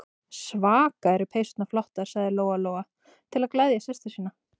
Svaka eru peysurnar flottar, sagði Lóa-Lóa til að gleðja systur sína.